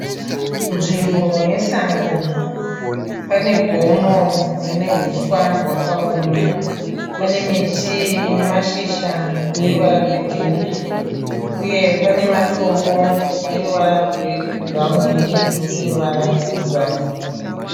Nzvimbo yesango. Pane gomo rine huswa hwakaoma. Pane miti ine mashizha ane ruvara rwegiririni uye pane matombo ane ruvara rwebhurauni neivhu rine ruvara rwebhurauni.